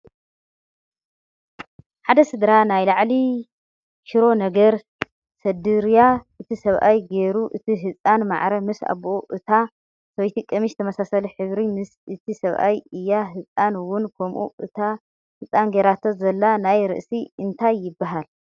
ሓደ ስድራ ናይ ላዕሊ ሽሮ ነገር ሰደርያ እቲ ሰብኣይ ጌሩ እቲ ህፃን ማዕረ ምስ ኣቡኡ እታ ሰበይቲ ቀምሽ ተመሳሳሊ ሕብሪ ምስ እቲ ሰብኣይ እያ ህፃን እውን ከምኡ እታ ህፃን ጌራቶ ዘላ ናይ ርእሲ እንታይ ይበሃል?